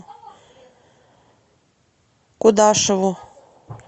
кудашеву